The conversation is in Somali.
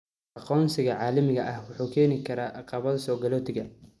Aqoonsiga caalamiga ah wuxuu u keeni karaa caqabado soogalootiga.